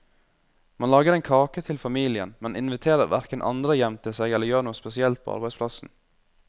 Man lager en kake til familien, men inviterer hverken andre hjem til seg eller gjør noe spesielt på arbeidsplassen.